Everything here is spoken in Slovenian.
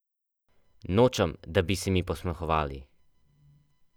Nočem, da bi se mi posmehovali!